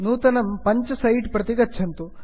नूतनं पञ्च सैट् प्रति गच्छन्तु